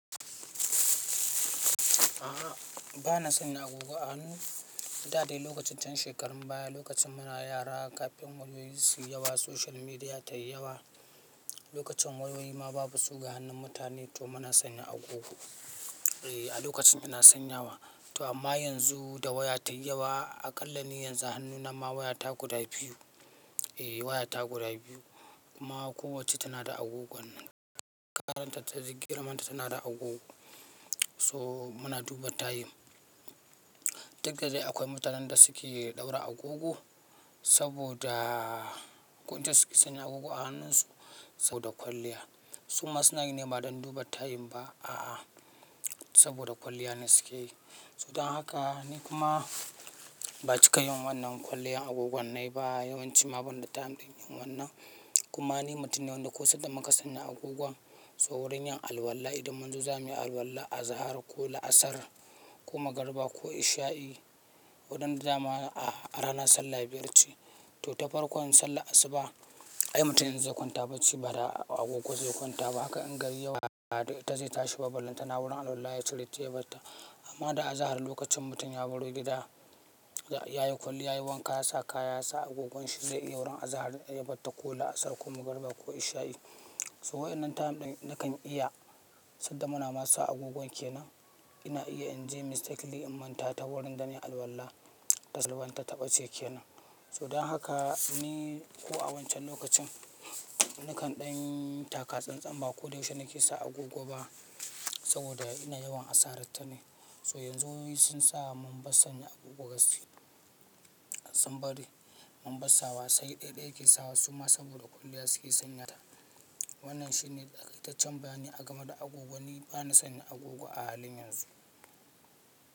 A'a, ba na sanya agogo a hannun da dai lokacin can shekarun baya, lokacin muna yara kafin wayoyi suyi yawa, social media tayi yawa. Lokacin wayoyi ma babu su ga hannun mutane to muna sanya agogo. A lokacin ina sanyawa. To amma yanzu da waya tayi yawa, a ƙalla ni yanzu hannuna ma wayata guda biyu. Waya ta guda biyu kuma kowacce tana da agogon. Karanta ta duk girman ta tana da agogo. So muna duba tayim. Duk da dai akwai mutanen da suke ɗaura agogo saboda kunce suke sanya agogo a hannunsu saboda kwalliya. Su ma suna yin nema don duba tayin ba a'a saboda kwalliya ne suke yi. So dan haka ni kuma ba cika yin wannan kwalliyar agogonai ba yawanci ma banda time ɗin yin wannan. Kuma ni mutum ne wanda ko sai da maka sanya agogon so wurin yin alwala idan manzo zamuyi alwala azahar ko la'asar ko magariba ko isha'i wadanda zamu a rana sallah biyar ce. To tafarkon sallah asuba, ai mutumin zai kwanta bacci ba da agogo zai kwanta ba. Haka in gari yawa, da ita zai tashi ba lantana wurin alwala ya cire tayi barta. Amma da azahar lokacin mutum ya baro gida, yayi kwali yayi wanka ya sa kaya ya sa agogon shi zai iya wurin azahar in ya barta ko la'asar ko magariba ko isha'i. So waɗannan time ɗin nakan iya sai da muna masu agogon ke nan. Ina iya in je mistake liki in manta ta wurin dane alwala ta salwa ta taɓa ce ke nan. So dan haka ni ko a wancan lokacin, nakan ɗan taka tsantsan ba ko da yaushe nake sa agogo ba saboda ina yawan asarar ta ne. So yanzu wayoyi sun saka mun basta sanya agogo gaskiya. Sun bari mun basta wa sai ɗaiɗai ake sawa suma saboda kwalliya suke sanya ta. Wannan shine ita can baya ne a gama da agogo. Ni bana sanya agogo a halin yanzu.